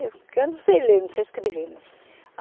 Que eu não sei ler, não sei escrever, né.